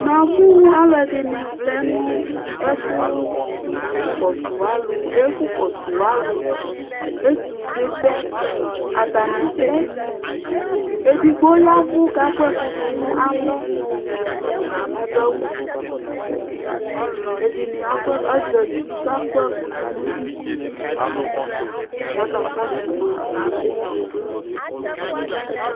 namu alɛdini flɛ nu kɔsualu etusɛbɛ atani flɛ ɛdigu yɛvu kaku ɛkubunu nalɔ adu awu fɛ ɛdini azati kaku ɛkudunuyɔ kaḱtɔsuma nɛtusɛ